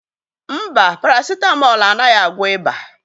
Mba, páràsitámol anaghị agwọ ịba.